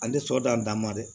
Ale tɛ sɔ dan dama dɛ